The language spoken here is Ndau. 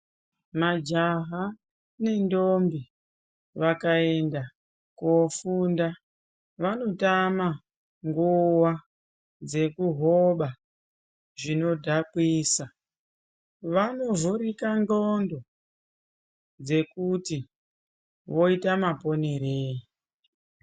Majaha nendombi vakaenda koofunda vanotama nguva yekuhoba zvinodhakisa. Vanovhurika ndxondo dzekuti voita maponerei.